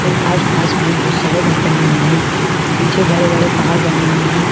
और आसपास में बहुत सारे घर बने हुए हैं पीछे बड़े-बड़े पहाड़ बने हुए हैं।